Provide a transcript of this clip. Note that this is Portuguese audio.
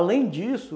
Além disso...